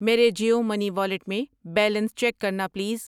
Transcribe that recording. میرے Jio money wallet میں balance check کرنا پلیز۔